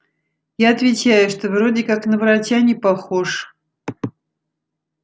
я отвечаю что вроде как на врача не похож